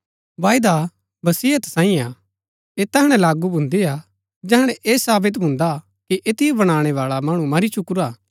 वायदा वसियत सांईयै हा ऐह तैहणै लागू भून्दी हा जैहणै ऐह सावित भून्दा कि ऐतिओ बनाणै बाला मणु मरी चुकुरा हा